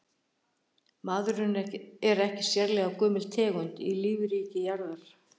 Maðurinn er ekki sérlega gömul tegund í lífríki jarðar.